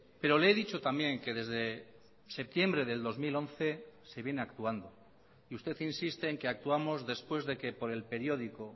pero le he dicho también que desde septiembre del dos mil once se viene actuando y usted insiste en que actuamos después de que por el periódico